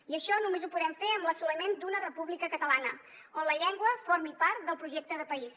i això només ho podem fer amb l’assoliment d’una república catalana on la llengua formi part del projecte de país